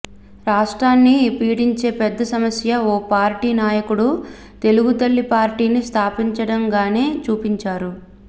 రాష్ట్రాన్ని పీడించే పెద్ద సమస్య ఓ పార్టీ నాయకుడు తెలుగుతల్లి పార్టీని స్థాపించడంగానే చూపించారు